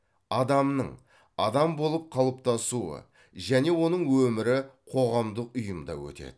адамның адам болып қалыптасуы және оның өмірі қоғамдық ұйымда өтеді